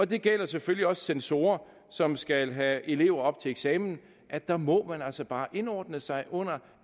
det gælder selvfølgelig også for censorer som skal have elever op til eksamen at der må man altså bare indordne sig under